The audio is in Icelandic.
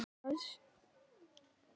Leggurðu drengskap þinn að veði?